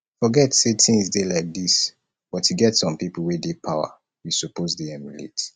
forget say things dey like dis but e get some people wey dey power we suppose dey emulate